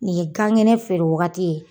Nin ye gan kɛnɛ feere waagati ye.